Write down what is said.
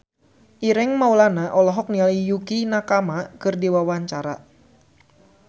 Ireng Maulana olohok ningali Yukie Nakama keur diwawancara